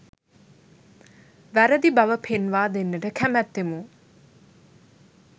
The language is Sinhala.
වැරදි බව පෙන්වා දෙන්නට කැමැත්තෙමු.